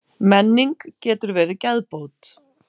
Menning getur verið geðbót.